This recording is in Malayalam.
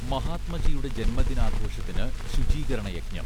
മഹാത്മജിയുടെ ജന്മദിനാഘോഷത്തിന് ശുചീകരണയജ്ഞം